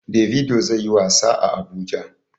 Davido zai yi wasa a Abuja.